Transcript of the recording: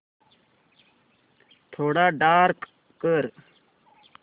थोडा डार्क कर